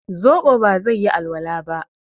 zobo ba zai yi alwala ba